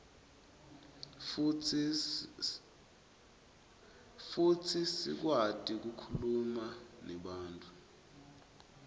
futsi sikwati kukhuluma nebantfu